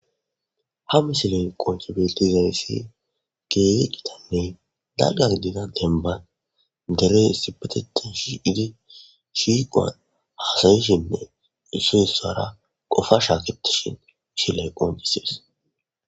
ha misilen qonchibiti zarissi keeye qitamey dalga gidida enban derey sibeteti shi idi shiiqoan hasayishinne issuessara qofa shaaketishin ishilay qoncisees